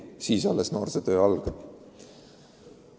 Pärast seda peab töö noorega alles algama.